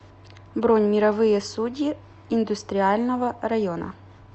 бронь мировые судьи индустриального района